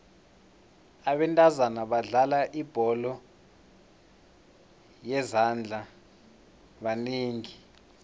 abentazana abadlala ibholo yezandla banengi